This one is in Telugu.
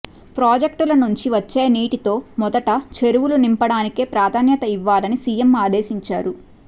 ప్రాజెక్టుల నుంచి వచ్చే నీటితో మొదట చెరువులు నింపడానికే ప్రాధాన్యత ఇవ్వాలని సీఎం ఆదేశించారు